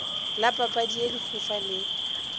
la papadi ye lehufa le